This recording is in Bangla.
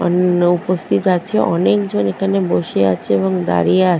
নৌকো স্থির আছেঅনেকজন এখানে বসে আছে এবং দাঁড়িয়ে আ--